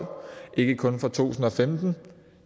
ikke kun fra to tusind og femten